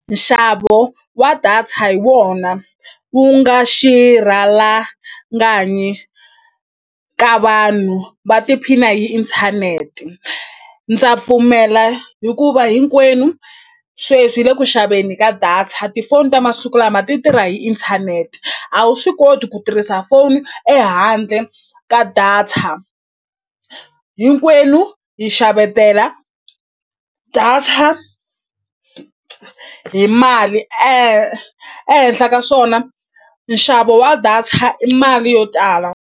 Nxavo wa data hi wona wu nga xirhalanganyi ka vanhu va tiphina hi inthanete ndza pfumela hikuva hinkwenu sweswi hi le ku xaveni ka data tifoni ta masiku lama ti tirha hi inthanete a wu swi koti ku tirhisa foni ehandle ka data hinkwenu hi xavetela data hi mali ehenhla ka swona nxavo wa data i mali yo tala.